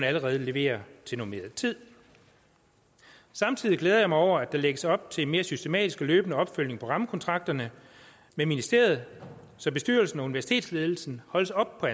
allerede leverer til normeret tid samtidig glæder jeg mig over at der lægges op til mere systematisk og løbende opfølgning på rammekontrakterne med ministeriet så bestyrelsen og universitetsledelsen holdes op på